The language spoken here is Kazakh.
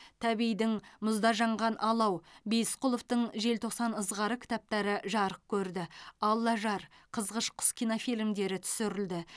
тәбейдің мұзда жанған алау бейісқұловтың желтоқсан ызғары кітаптары жарық көрді аллажар қызғыш құс кинофильмдері түсірілді